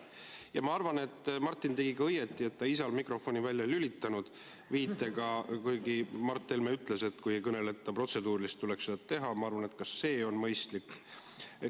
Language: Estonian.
Ja ma arvan, et Martin tegi õigesti, et ta isal mikrofoni välja ei lülitanud, kuigi Mart Helme ütles, et kui ei esitata protseduurilisi küsimusi, tuleks seda teha.